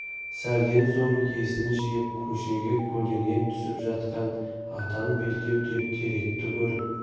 сәлден соң есін жиып көшеге көлденең түсіп жатқан атан бел дәу теректі көріп